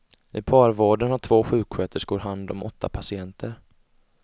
I parvården har två sjuksköterskor hand om åtta patienter.